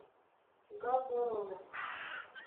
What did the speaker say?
габороне